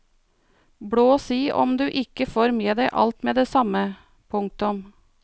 Blås i om du ikke får med deg alt med det samme. punktum